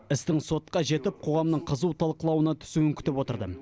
істің сотқа жетіп қоғамның қызу талқылануына түсуін күтіп отырды